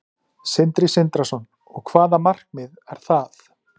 Sindri Sindrason: Og hvaða markmið er það?